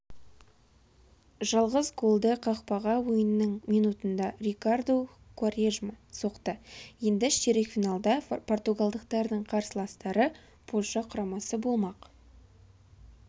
жалғыз голды қақпаға ойынның минутында рикарду куарежма соқты енді ширек финалда португалдықтардың қарсыластары польша құрамасы болмақ